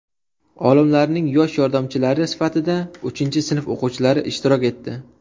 Olimlarning yosh yordamchilari sifatida uchinchi sinf o‘quvchilari ishtirok etdi.